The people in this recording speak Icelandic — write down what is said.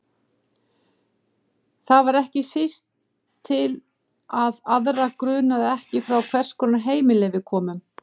Það var ekki síst til að aðra grunaði ekki frá hvers konar heimili við komum.